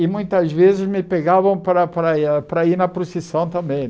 E muitas vezes me pegavam para para ir para ir na procissão também.